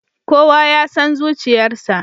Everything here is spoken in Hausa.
Kowa ya san zuciyarsa.